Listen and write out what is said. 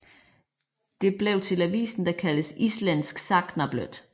Det blev til avisen der kaldtes Ízlendsk sagnabløð